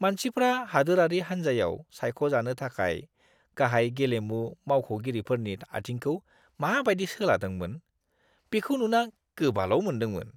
मानसिफ्रा हादोरारि हान्जायाव सायख'जानो थाखाय गाहाय गेलेमु मावख'गिरिफोरनि आथिंखौ माबायदि सोलादोंमोन, बिखौ नुना गोबाल' मोन्दोंमोन।